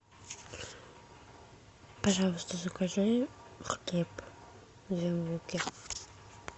пожалуйста закажи хлеб две булки